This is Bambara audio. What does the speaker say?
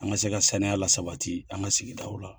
An ka se ka saniya lasabati an ka sigidaw la.